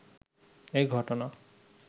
এই ঘটনা